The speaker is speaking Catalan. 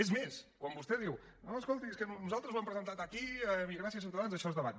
és més quan vostè diu no escolti és que nosaltres ho hem presentat aquí i gràcies a ciutadans això es debat